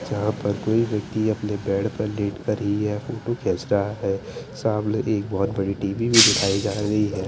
जहां पर कोई व्यक्ति अपने बेड पर लेट कर ही यह फोटो खींच रहा है सामने एक बहोत बड़ी टी_वी भी दिखाई जा रही है।